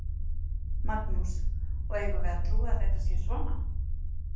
Magnús: Og eigum við að trúa að þetta sé svona?